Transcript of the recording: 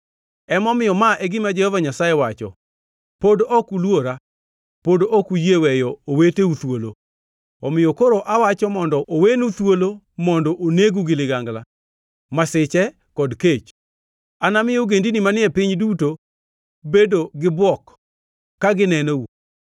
“Emomiyo, ma e gima Jehova Nyasaye wacho: Pod ok uluora; pod ok uyie weyo oweteu thuolo. Omiyo koro awacho mondo owenu thuolo mondo onegu gi ligangla, masiche kod kech. Anami ogendini manie piny duto bedo gibuok ka ginenou.